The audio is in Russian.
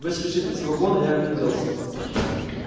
выскочив из вагона я огляделся